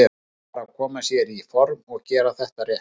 Nú er bara að koma sér í form og gera þetta rétt.